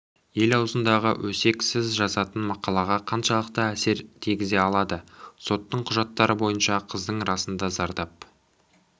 ел аузындағы өсек сіз жазатын мақалаға қаншалықты әсерін тигізе алады соттың құжаттары бойынша қыздың расында зардап